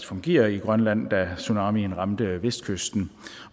fungerer i grønland da tsunamien ramte vestkysten